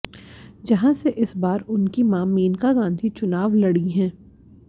जहां से इस बार उनकी मां मेनका गांधी चुनाव लड़ी हैं